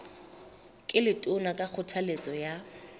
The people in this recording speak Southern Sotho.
ke letona ka kgothaletso ya